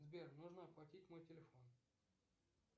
сбер нужно оплатить мой телефон